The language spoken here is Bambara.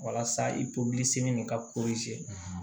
Walasa i nin ka